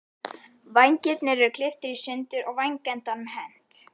Vængirnir eru klipptir í sundur og vængendanum hent.